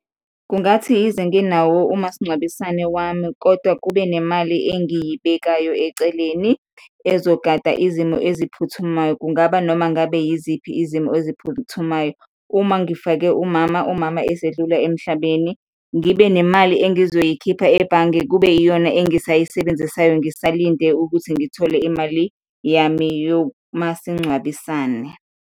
Kungathi yize nginawo umasingcwabisane wami kodwa kube nemali engiyibekayo eceleni ezogada izimo eziphuthumayo, kungaba noma ngabe yiziphi izimo eziphuthumayo. Uma ngifake umama umama esedlula emhlabeni, ngibe nemali engizoyikhipha ebhange kube iyona engisayisebenzisayo ngisalinde ukuthi ngithole imali yami yomasingcwabisane.